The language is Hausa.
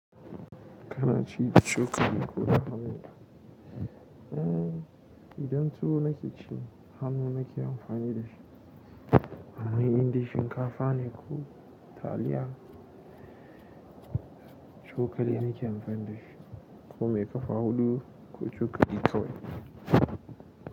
Kana ci da cokali ko hannu? Eh, idan tuwo nake ci hannu nake amfani dashi. Amman indai shinkafa ne ko taliya cokali nake amfani dashi ko mai ƙafa huɗu ko cokali kawai.